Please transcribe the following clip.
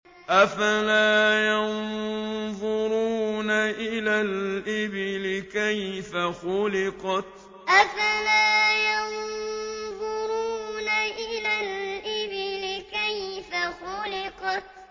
أَفَلَا يَنظُرُونَ إِلَى الْإِبِلِ كَيْفَ خُلِقَتْ أَفَلَا يَنظُرُونَ إِلَى الْإِبِلِ كَيْفَ خُلِقَتْ